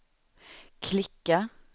klicka